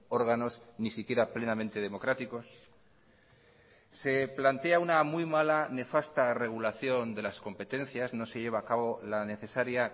órganos ni siquiera plenamente democráticos se plantea una muy mala nefasta regulación de las competencias no se lleva a cabo la necesaria